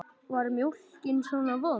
Var mjólkin svona vond?